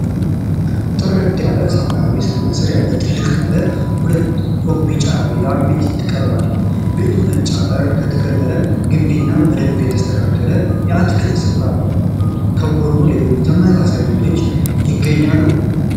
ጥርት ባለ ሰማያዊ ሰማይ ስር ያለ ትልቅ ባለ ሁለት ፎቅ ቢጫ ቪላ ቤት ቀርቧል። ቤቱ ነጭ አጥር፣ የተከለለ ግቢ እና በደንብ የተስተካከለ የአትክልት ስፍራ አለው። ከጎን ሌሎች ተመሳሳይ ቤቶች ይገኛሉ።